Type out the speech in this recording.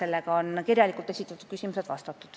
Sellega on kirjalikult esitatud küsimustele vastatud.